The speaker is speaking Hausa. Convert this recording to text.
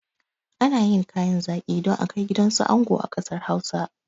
Ana yin kayan zaƙi don akai gidansu ango a ƙasar hausa